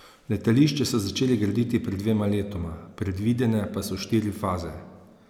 Letališče so začeli graditi pred dvema letoma, predvidene pa so štiri faze.